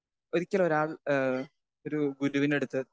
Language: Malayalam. സ്പീക്കർ 2 ഒരിക്കലൊരാൾ ഏഹ് ഒരു ഗുരുവിൻ്റടുത്ത്